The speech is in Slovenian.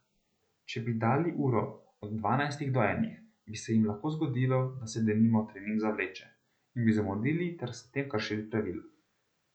Če bi dali uro od dvanajstih do enih, bi se jim lahko zgodilo, da se denimo trening zavleče, in bi zamudil ter s tem kršili pravila.